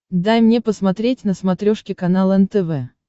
дай мне посмотреть на смотрешке канал нтв